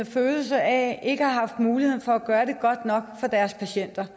følelse af ikke at have haft mulighed for at gøre det godt nok for deres patienter